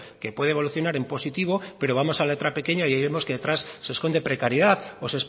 que puede evolucionar en positivo pero vamos a la letra pequeña y ahí vemos que detrás se esconde precariedad o